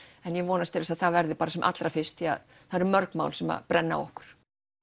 en ég vonast til að það verði sem allra fyrst því að það eru mörg mál sem að brenna á okkur